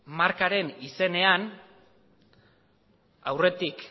markaren izenean aurretik